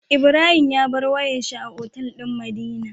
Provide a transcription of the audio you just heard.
Ibrahim ya bar wayar shi a otal din madina